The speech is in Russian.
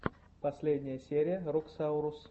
последняя серия роксаурус